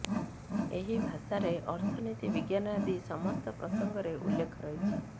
ଏହି ଭାଷାରେ ଅର୍ଥନୀତି ବିଜ୍ଞାନ ଆଦି ସମସ୍ତ ପ୍ରସଙ୍ଗରେ ଉଲ୍ଲେଖ ରହିଛି